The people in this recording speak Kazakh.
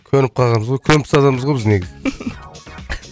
көніп қалғанбыз ғой көнбіс адамбыз ғой біз негізі